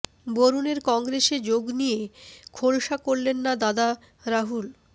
বরুণের কংগ্রেসে যোগ নিয়ে খোলসা করলেন না দাদা রাহুল